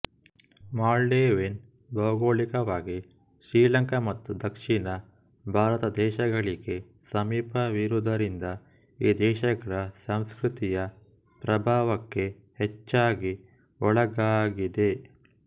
ಮಾಲ್ಡೀವಿನ್ ಭೌಗೋಳಿಕವಾಗಿ ಶ್ರೀಲಂಕಾ ಮತ್ತು ದಕ್ಷಿಣ ಭಾರತದೇಶಗಳಿಗೆ ಸಮೀಪವಿರುವುದರಿಂದ ಈ ದೇಶಗಳ ಸಂಸ್ಕೃತಿಯ ಪ್ರಭಾವಕ್ಕೆ ಹೆಚ್ಚಾಗಿ ಒಳಗಾಗಿದೆ